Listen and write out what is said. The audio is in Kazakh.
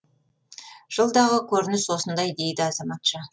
жылдағы көрініс осындай дейді азаматша